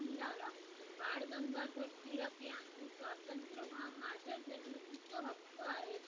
मिळाला बाळ गंगाधर टिळक यांनी स्वातंत्र्य हा माझे जन्मसिद्ध हक्क आहे